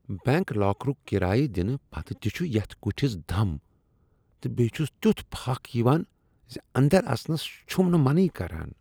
Bank لاکرُک کرایہ دنہٕ پتہٕ تہ چھ یتھ کٹھس دم تہٕ بیٚیہ چھس تیُتھ پھکھ یوان ز انٛدر اژنس چھم نہٕ منٕے کران۔